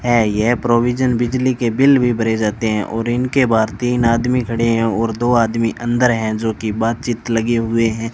है यह प्रोविजन बिजली के बिल भी भरे जाते है और इनके बाद तीन आदमी खड़े हैं और दो आदमी अंदर हैं जो की बातचीत लगे हुए हैं।